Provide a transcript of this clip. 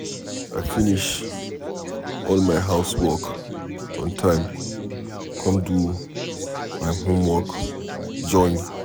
I finish all my house work on time come do my homework join.